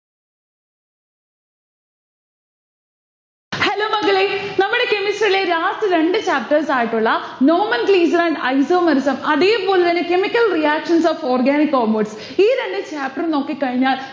hello മക്കളെ. നമ്മളെ chemistry ലെ last രണ്ടു chapters ആയിട്ടുള്ള nomenclature and isomerism അതേ പോലെ തന്നെ chemical reactions of organic compound ഈ രണ്ട് chapter ഉം നോക്കിക്കഴിഞ്ഞാൽ